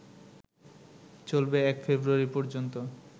চলবে ১ ফেব্রুয়ারি পর্যন্ত